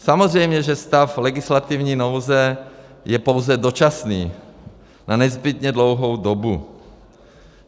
Samozřejmě že stav legislativní nouze je pouze dočasný na nezbytně dlouhou dobu.